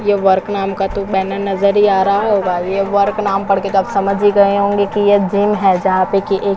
ये वर्क (work) नाम का तो बैनर (banner) नजर ही आ रहा होगा। ये वर्क (work) नाम पढ़ के तो आप समझ ही गए होंगे ये जिम (gym) है जहा पे की एक--